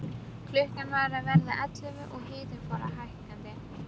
Klukkan var að verða ellefu og hitinn fór hækkandi.